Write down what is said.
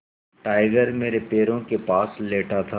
tiger मेरे पैरों के पास लेटा था